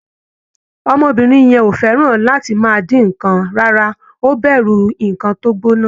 Ọmọbìnrin yẹn ò fẹ́ràn láti máà dín nǹkan rárá, ó bẹ̀rù nǹkan tó gbóná.